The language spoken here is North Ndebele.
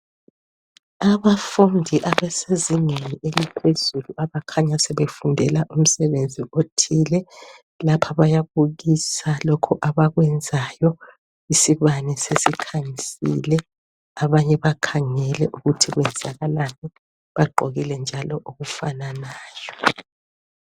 Abafundi abasezingeni eliphezulu abakhanya sebefundela umsebenzi othile. Lapha bayabukisa lokhu abakwenzayo, isibane sesikhanyisile abanye bakhangele ukuthi kwenzakalani. Bagqokile njalo okufananayo